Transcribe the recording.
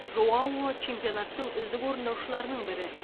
жоао чемпионаттың үздік орындаушыларының бірі